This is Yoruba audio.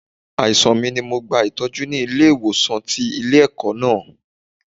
Àìsàn mi ni mo gba Ìtọ́jú ni ilé ìwòsàn tí ilé ẹ̀kọ́ náà.